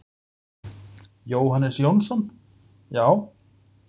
Jóhannes Jónsson: Já.